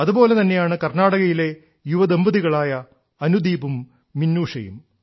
അതുപോലെ തന്നെയാണ് കർണ്ണാടകയിലെ യുവദമ്പതികളായ അനുദീപും മിനൂഷയും